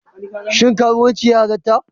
Shin karuwanci ya halatta?